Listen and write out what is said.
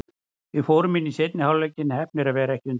Við fórum inn í seinni hálfleikinn, heppnir að vera ekki undir.